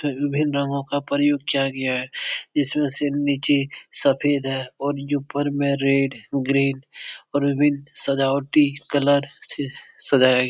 जिसमें विभिन्न रंगों का प्रयोग किया गया हैं जिसमें से नीचे सफेद हैं और ऊपर में रेड ग्रीन और विभिन्न सजावटी कलर से सजाया गया।